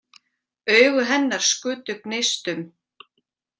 Augu hennar skutu gneistum.